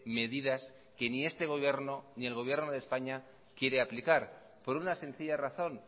medidas que ni este gobierno ni el gobierno de españa quiere aplicar por una sencilla razón